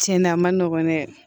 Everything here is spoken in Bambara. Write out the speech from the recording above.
Tiɲɛn na a ma nɔgɔn dɛ